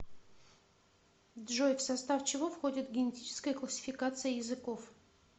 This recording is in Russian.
джой в состав чего входит генетическая классификация языков